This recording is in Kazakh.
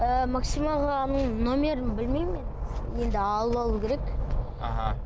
ы максим ағаның нөмірін білмеймін мен енді алып алу керек аха